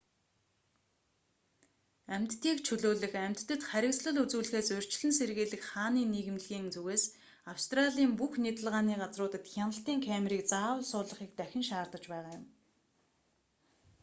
амьтдыг чөлөөлөх амьтдад харгислал үзүүлэхээс урьдчилан сэргийлэх хааны нийгэмлэг rspca-ийн зүгээс австралийн бүх нядалгааны газруудад хяналтын камерыг заавал суулгахыг дахин шаардаж байгаа юм